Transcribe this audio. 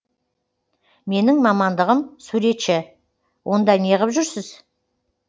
менің мамандығым суретші онда неғып жүрсіз